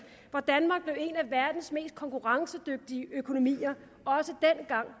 hvor danmark blev en af verdens mest konkurrencedygtige økonomier